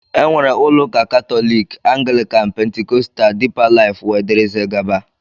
Enwere ụlọ ụka katólik, anglikan, pentikóstal, dipa lifú wdg.